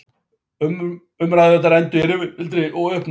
Umræðurnar enduðu í rifrildi og uppnámi.